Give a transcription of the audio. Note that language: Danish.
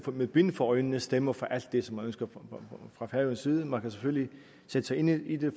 med bind for øjnene stemmer for alt det som ønskes fra færøernes side man kan selvfølgelig sætte sig ind i det